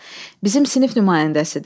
Bizim sinif nümayəndəsidir.